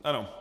Ano.